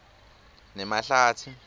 nemahlatsi